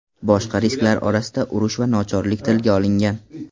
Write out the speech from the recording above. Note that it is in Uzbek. Boshqa risklar orasida urush va nochorlik tilga olingan.